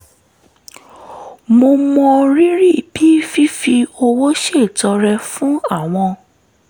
mo mọrírì bí fífi owó ṣètọrẹ fún àwọn